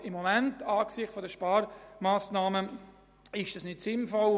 Aber im Moment ist es angesichts der Sparmassnahmen nicht sinnvoll.